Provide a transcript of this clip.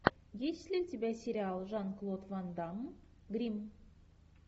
есть ли у тебя сериал жан клод ван дамм гримм